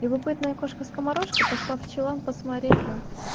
любопытная кошка скоморошка пошла в чулан посмотреть на